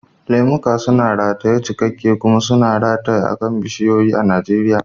Lemuka suna rataye cikakke kuma suna rataye akan bishiyoyi a Najeriya.